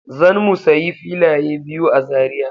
Zan mu sayi filaye biyu a Zariya!